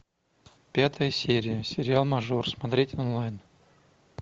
пятая серия сериал мажор смотреть онлайн